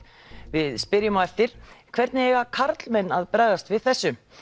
við spyrjum á eftir hvernig eiga karlmenn að bregðast við þessu